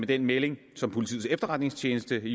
den melding som politiets efterretningstjeneste